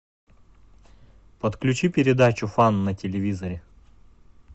подключи передачу фан на телевизоре